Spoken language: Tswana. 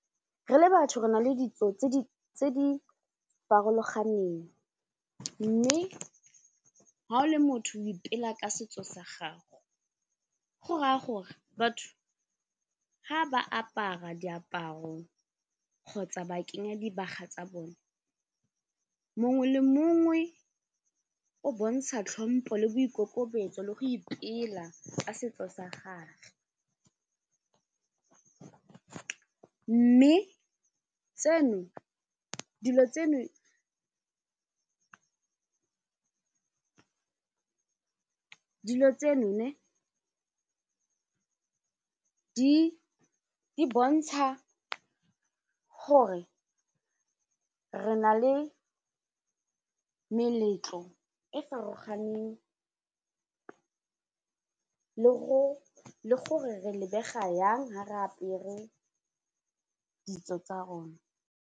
Re le batho re na le ditso tse di farologaneng mme ga o le motho o ipela ka setso sa gago, go raya gore batho ga ba apara diaparo kgotsa ba kenya dibaga tsa bone mongwe le mongwe o bontsha tlhompo le boikokobetso le go ipela ka setso sa gagwe mme dilo tseno di bontsha gore re na le meletlo e farologaneng le gore re lebega yang ha re apere ditso tsa rona.